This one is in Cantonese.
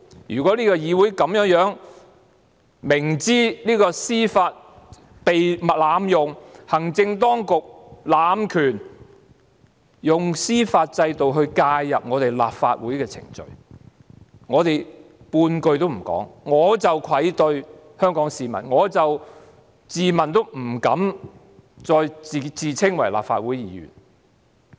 如果議會無法維持這方向，明知司法遭濫用，明知行政當局濫權，想利用司法制度介入立法會程序，但我們卻不哼半句，便愧對香港市民，我亦自問不敢再自稱立法會議員。